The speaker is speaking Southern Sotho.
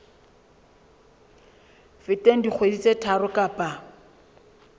feteng dikgwedi tse tharo kapa